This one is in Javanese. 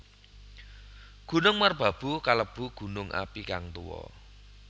Gunung Merbabu kalebu gunung api kang tuwa